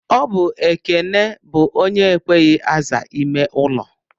Ọbụ Ekene bụ onye ekweghị aza ime ụlọ.